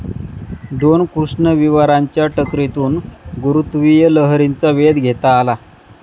दोन कृष्णविवरांच्या टकरीतून गुरुत्वीय लहरींचा वेध घेता आला.